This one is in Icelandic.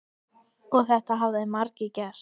Og þetta hafa margir gert.